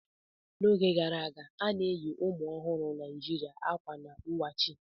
N'oge gara aga, a na-eyi ụmụ ọhụrụ Naijiria akwa n wachi.